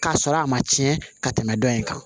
K'a sɔrɔ a ma tiɲɛ ka tɛmɛ dɔ in kan